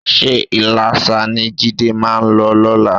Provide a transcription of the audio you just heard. Ṣé Iléṣà ni Jídé máa lọ lọ́la?